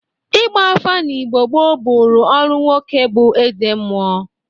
Igba afa n'Igbo gboo bụrụ ọrụ nwoke bụ ezemụọ.